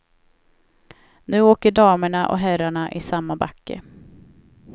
Nu åker damerna och herrarna i samma backe.